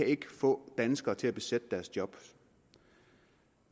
ikke kan få danskere til at besætte deres job